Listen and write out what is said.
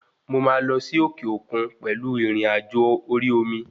Mo máa lọ sí òkè òkun pẹ̀lú ìrìnàjò orí omi